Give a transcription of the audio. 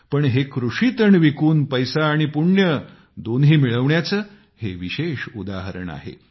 पण हे कृषी तण विकून पैसा आणी पुण्य दोन्ही मिळवण्याचं हे विशेष उदाहरण आहे